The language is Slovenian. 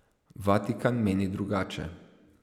Vatikan meni drugače.